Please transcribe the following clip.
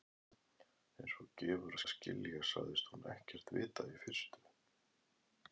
Einsog gefur að skilja sagðist hún ekkert vita í fyrstu.